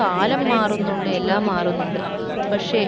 കാലം മാറുന്നുണ്ട് എല്ലാം മാറുന്നുണ്ട് പക്ഷെ